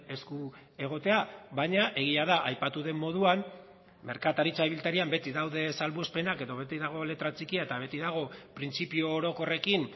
esku egotea baina egia da aipatu den moduan merkataritza ibiltarian beti daude salbuespenak edo beti dago letra txikia eta beti dago printzipio orokorrekin